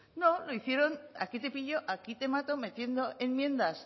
no lo hicieron aquí te pillo aquí te mato metiendo enmiendas